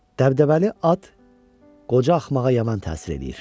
Dəbdəbəli at qoca axmağa yaman təsir eləyir.